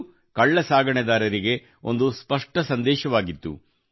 ಇದು ಕಳ್ಳ ಸಾಗಾಣಿಕೆದಾರರಿಗೆ ಒಂದು ಸ್ಪಷ್ಟ ಸಂದೇಶವಾಗಿತ್ತು